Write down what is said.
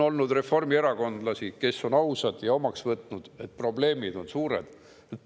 On reformierakondlasi, kes on ausad ja on omaks võtnud, et probleemid on suured.